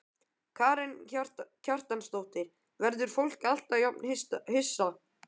Karen Kjartansdóttir: Verður fólk alltaf jafn hissa?